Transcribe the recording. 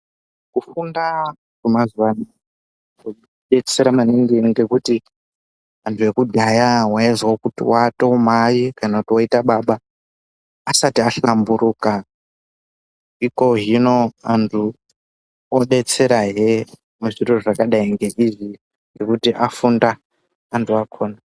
Kufunda kwemazuva ano kwava kudetsera maningi ngekuti antu ekudhaya waiwa kuti atova mai kana kuti oto baba asati hlamburuka ikozvino antu obetsera hee zvakadai ngeizvi nokuti afunda antu akona.